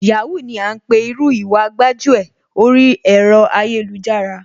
Yahoo ni à ńpè irú Ìwà gbájúẹ̀ oríi ẹ̀rọ ayélujára,